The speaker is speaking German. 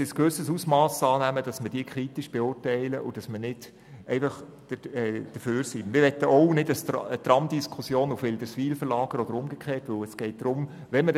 Die Argumente gingen hin und her, und an einem bestimmten Punkt hat man